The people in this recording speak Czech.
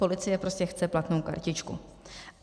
Policie prostě chce platnou kartičku.